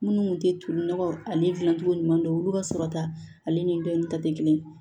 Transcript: Minnu kun tɛ toli nɔgɔ ani dilancogo ɲuman dɔn olu ka sɔrɔta ale ni bɛɛ ta tɛ kelen ye